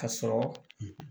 Ka sɔrɔ